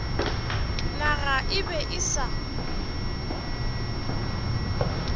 naga e be e sa